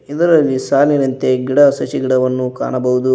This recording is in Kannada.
ಇದರಲ್ಲಿ ಸಾಲಿನಂತೆ ಗಿಡ ಸಸಿ ಗಿಡವನ್ನು ಕಾಣಬಹುದು.